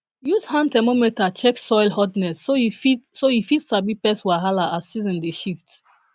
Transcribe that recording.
use hand thermometer check soil hotness so you fit so you fit sabi pest wahala as season dey shift